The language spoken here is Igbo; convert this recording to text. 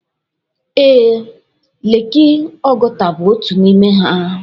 Ee, leeki Oguta bụ otu n'ime ha.